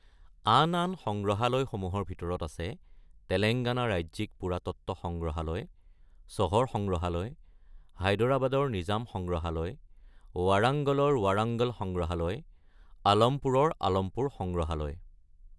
আন আন সংগ্ৰহালয়সমূহৰ ভিতৰত আছে তেলেংগানা ৰাজ্যিক পুৰাতত্ত্ব সংগ্ৰহালয়, চহৰ সংগ্ৰহালয়, হায়দৰাবাদৰ নিজাম সংগ্ৰহালয়, ৱাৰাংগলৰ ৱাৰাংগল সংগ্ৰহালয়, আলমপুৰৰ আলমপুৰ সংগ্ৰহালয়।